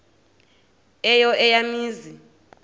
eyo eya mizi